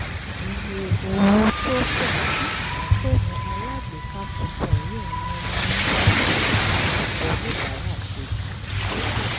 iye owó tó pọ̀ tí àwọn fóònù alágbèéká tuntun yìí ń náni mú kí ọ̀pọ̀ oníbàárà ṣe kàyéfì